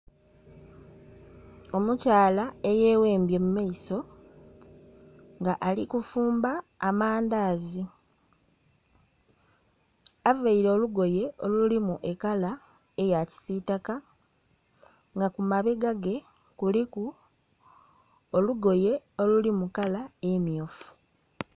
Omukyala eyeghembye mu maiso nga ali kufumba amandazi. Avaire olugoye olulimu e kala eya kisitaka nga kumabegage kuliku olugoye oluli mu kala emmyufu